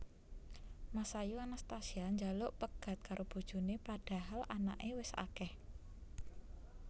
Masayu Anastasia njaluk pegat karo bojone padahal anake wes akeh